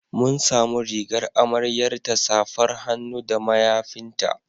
Mun samu rigar amaryarta, safar hannu da mayafinta.